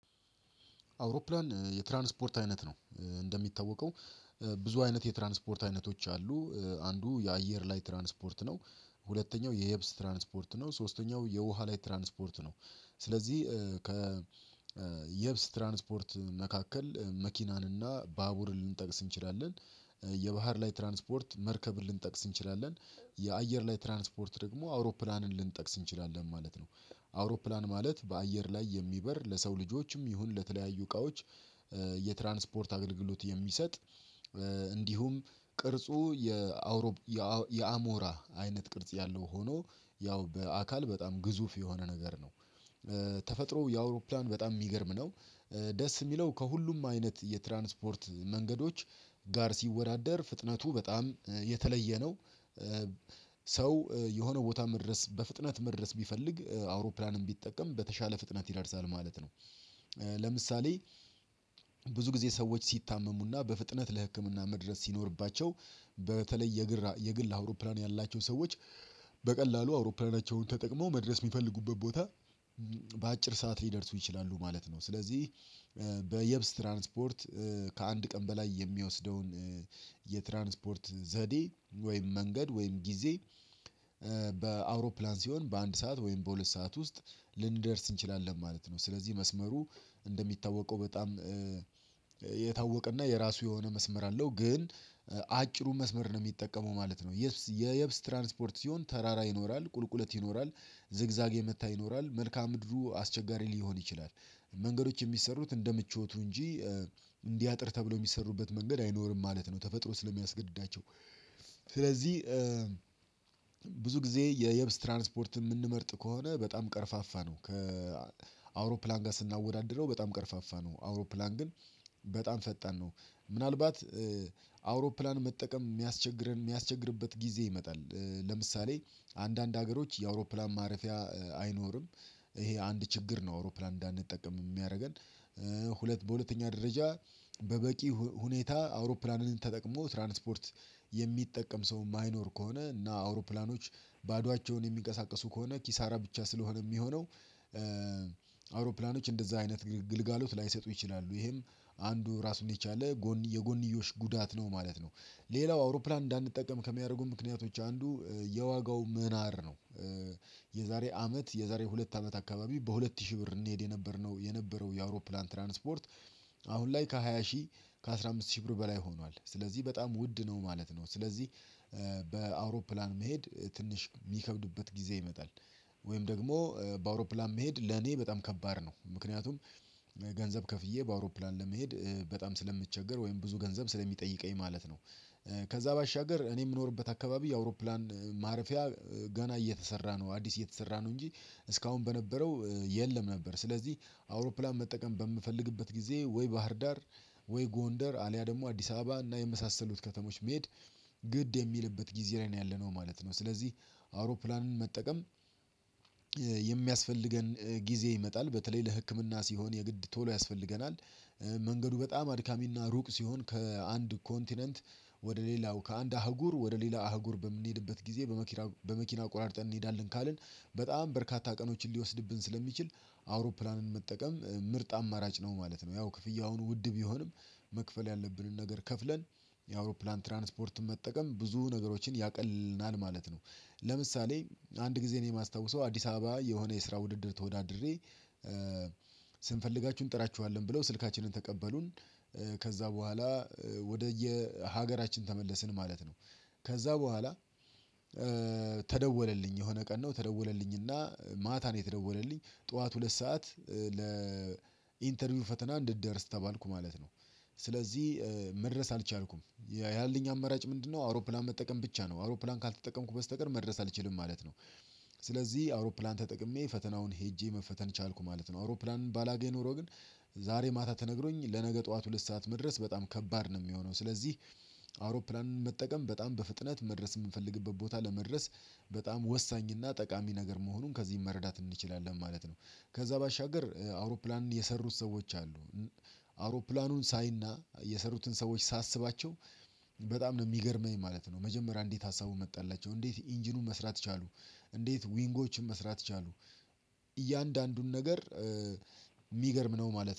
አውሮፕላን የትራንስፖርት አይነት ነው። እንደሚታወቀው ብዙ አይነት የትራንስፖርት አይነቶች አሉ፤ አንዱ የአየር ላይ ትራንስፖርት ነው፤ ሁለተኛው የየብስ ትራንስፖርት ነው፤ ሶስተኛው የውሃ ላይ ትራንስፖርት ነው። ስለዚህ ከ የብስ ትራንስፖርት መካከል መኪናን እና ባቡር ልንጠቅስ እንችላለን። የባህር ላይ ትራንስፖርት መርከብ ልንጠቅስ እንችላለን። የአየር ላይ ትራንስፖርት ደግሞ አውሮፕላንን ልንጠቅስ እንችላለን ማለት ነው። አውሮፕላን ማለት በአየር ላይ የሚበር ለሰው ልጆች የሚሆን የተለያዩ እቃዎች የትራንስፖርት አገልግሎት የሚሰጥ እንዲሁም ቅርጹ የአውሮ የአሞራ አይነት ቅርጽ ያለው ሆኖ ያው በአካል በጣም ግዙፍ የሆነ ነገር ነው። ተፈጥሮ የአውሮፕላን በጣም የሚገርም ነው። ደስ የሚለው ከሁሉም አይነት የትራንስፖርት መንገዶች ጋር ሲወዳደር ፍጥነቱ በጣም የተለየ ነው። ሰው የሆነ ቦታ መድረስ በፍጥነት መድረስ ቢፈልግ አውሮፕላንም ቢጠቀም በተሻለ ፍጥነት ይዳርሳል ማለት ነው። ለምሳሌ ብዙ ጊዜ ሰዎች ሲታመሙና በፍጥነት ለህክምና መድረስ ሲኖርባቸው። በተለይ የግል የግል አውሮፕላን ያላቸው ሰዎች በቀላሉ አውሮፕላናቸውን ተጠቅመው፤ መድረስ የሚፈልጉበት ቦታ በአጭር ሰዓት ሊደርሱ ይችላሉ ማለት ነው። ስለዚህ በየብስ ትራንስፖርት ከአንድ ቀን በላይ የሚወስደውን የትራንስፖርት ዘዴ፤ ወይም መንገድ፤ ወይም ጊዜ፤ በአውሮፕላን ሲሆን በአንድ ሰዓት ወይም በሁለት ሰዓት ውስጥ ልንደርስ እንችላለን ማለት ነው። ስለዚህ መስመሩ እንደሚታወቀው በጣም የታወቀና የራሱ የሆነ መስመር አለው ግን አጭሩ መስመር ነው የሚጠቀመው ማለት ነው። የየብስ ትራንስፖርት ሲሆን ተራራ ይኖራል፤ ቁልቁለት ይኖራል፤ ዝግዛግ የመታ ይኖራል፤ መልካ ምድሩ አስቸጋሪ ሊሆን ይችላል። መንገዶች የሚሰሩት እንደ ምቾቱ እንጂ እንዲህ አጥር ተብሎ የሚሰሩበት መንገድ አይኖርም ማለት ነው። ተፈጥሮ ስለሚያስገድዳቸው ስለዚህ ብዙ ጊዜ የየብስ ትራንስፖርት የምንመርጥ ከሆነ በጣም ቀርፋፋ ነው ከአውሮፕላን ጋር ስናወዳድረው በጣም ቀርፋፋ ነው አውሮፕላን ግን በጣም ፈጠን ነው። ምናልባት አውሮፕላን መጠቀም የሚያስቸግረን የሚያስቸግርበት ጊዜ ይመጣል። ለምሳሌ አንዳንድ ሀገሮች የአውሮፕላን ማረፊያ አይኖርም ይሄ አንድ ችግር ነው አውሮፕላን እንዳንጠቀም የሚያደርገን። ሁለት በሁለተኛ ደረጃ በበቂ ሁኔታ አውሮፕላንን ተጠቅሞ ትራንስፖርት የሚጠቀም ሰው የማይኖር ከሆነ እና አውሮፕላኖች ባዶአቸውን የሚንቀሳቀሱ ከሆነ ኪሳራ ብቻ ስለሆነ የሚሆነው አውሮፕላኖች እንደዛ አይነት ግልጋሎት ላይሰጡ ይችላሉ ይሄም አንዱ ራሱን የቻለ የጎንዮሽ ጉዳት ነው ማለት ነው። ሌላው አውሮፕላን እንዳንጠቀም ከሚያደርጉ ምክንያቶች አንዱ የዋጋው ምህናር ነው። የዛሬ አመት የዛሬ ሁለት አመት አካባቢ በሁለት ሺህ ብር እንሄድ የነበርነው የነበረው የአውሮፕላን ትራንስፖርት አሁን ላይ ከሃያ ሺህ ከአስራ አምስት ሺህ ብር በላይ ሆኗል ስለዚህ በጣም ውድ ነው ማለት ነው። ስለዚህ በአውሮፕላን መሄድ ትንሽ የሚከብድበት ጊዜ ይመጣል ወይም ደግሞ በአውሮፕላን መሄድ ለኔ በጣም ከባድ ነው። ምክንያቱም ገንዘብ ከፍዬ በአውሮፕላን ለመሄድ በጣም ስለምቸገር ወይም ብዙ ገንዘብ ስለሚጠይቀኝ ማለት ነው። ከዛ ባሻገር እኔ የምኖርበት አካባቢ የአውሮፕላን ማረፊያ ገና እየተሰራ ነው አዲስ እየተሰራ ነው እንጂ እስካሁን በነበረው የለም ነበር። ስለዚህ አውሮፕላን መጠቀም በምፈልግበት ጊዜ ወይ ባህርዳር፤ ወይ ጎንደር፤ አልያ ደግሞ አዲስ አበባ፤ እና የመሳሰሉት ከተሞች መሄድ ግድ የሚልበት ጊዜ ላይ ነው ያለነው ማለት ነው። ስለዚህ አውሮፕላንን መጠቀም የሚያስፈልገን ጊዜ ይመጣል በተለይ ለህክምና ሲሆን የግድ ቶሎ ያስፈልገናል። መንገዱ በጣም አድካሚና ሩቅ ሲሆን ከአንድ ኮንቲነንት ወደ ሌላው ከአንድ አህጉር ወደ ሌላ አህጉር በምንሄድበት ጊዜ በመኪና በመኪና ቆራርጠን እንሄዳለን ካልን በጣም በርካታ ቀኖችን ሊወስድብን ስለሚችል አውሮፕላንን መጠቀም ምርጥ አማራጭ ነው ማለት ነው። ያው ክፍያውን ውድ ቢሆንም መክፈል ያለብንን ነገር ከፍለን፤ የአውሮፕላን ትራንስፖርትን መጠቀም ብዙ ነገሮችን ያቀልልናል ማለት ነው። ለምሳሌ አንድ ጊዜ ነው የማስታውሰው አዲስ አበባ የሆነ የስራ ውድድር ተወዳድሬ ስንፈልጋችሁ እንጥራችኋለን ብለው ስልካችንን ተቀበሉን ከዛ በኋላ ወደየ ሀገራችን ተመለስን ማለት ነው። ከዛ በኋላ ተደወለልኝ የሆነ ቀን ነው ተደወለልኝና ማታ ነው የተደወለልኝ ጠዋት ሁለት ሰዓት ለኢንተርቪው ፈተና እንድትደርስ ተባልኩ ማለት ነው። ስለዚህ መድረስ አልቻልኩም ያለኝ አመራጭ ምንድነው አውሮፕላን መጠቀም ብቻ ነው አውሮፕላን ካልተጠቀምኩ በስተቀር መድረስ አልችልም ማለት ነው። ስለዚህ አውሮፕላን ተጠቅሜ ፈተናውን ሄጄ መፈተን ቻልኩ ማለት ነው። አውሮፕላን ባላገኝ ኖሮ ግን ዛሬ ማታ ተነግሮኝ ለነገ ጠዋት ሁለት ሰዓት መድረስ በጣም ከባድ ነው የሚሆነው። ስለዚህ አውሮፕላንን መጠቀም በጣም በፍጥነት መድረስ የምንፈልግበት ቦታ ለመድረስ በጣም ወሳኝ እና ጠቃሚ ነገር መሆኑን ከዚህ መረዳት እንችላለን ማለት ነው። ከዛ ባሻገር አውሮፕላን የሰሩት ሰዎች አሉ አውሮፕላኑን ሳይና የሰሩትን ሰዎች ሳስባቸው በጣም ነው የሚገርመኝ ማለት ነው። መጀመሪያ እንዴት ሀሳቡን መጣላቸው፤ እንዴት ኢንጂኑን መስራት ቻሉ፤ እንዴት ዊንጎችን መስራት ቻሉ፤ እያንዳንዱን ነገር የሚገርም ነው ማለት ነው።